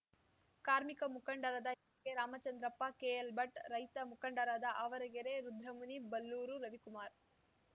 ಕಾರ್ಮಿಕ ಮುಖಂಡರಾದ ಎಚ್‌ಕೆರಾಮಚಂದ್ರಪ್ಪ ಕೆಎಲ್‌ಭಟ್‌ ರೈತ ಮುಖಂಡರಾದ ಆವರಗೆರೆ ರುದ್ರಮುನಿ ಬಲ್ಲೂರು ರವಿಕುಮಾರ